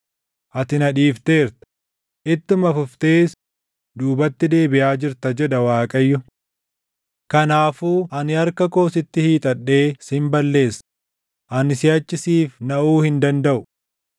Ati na dhiifteerta; ittuma fuftees duubatti deebiʼaa jirta” jedha Waaqayyo. “Kanaafuu ani harka koo sitti hiixadhee sin balleessa; ani siʼachi siif naʼuu hin dandaʼu.